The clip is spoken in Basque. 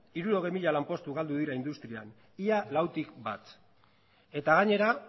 hirurogei mila lanpostu galdu dira industrian ia lautik bat eta gainera